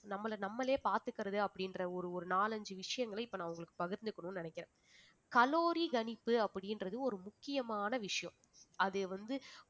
நம்மள நம்மளே பார்த்துக்கிறது அப்படின்ற ஒரு ஒரு நாலஞ்சு விஷயங்களை இப்ப நான் உங்களுக்கு பகிர்ந்துக்கணும்ன்னு நினைக்கிறேன் கலோரி கணிப்பு அப்படின்றது ஒரு முக்கியமான விஷயம் அதை வந்து